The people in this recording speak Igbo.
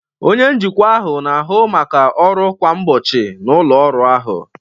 Onye njikwa ahụ na-ahụ maka ọrụ kwa ụbọchị na ụlọ ọrụ ahụ.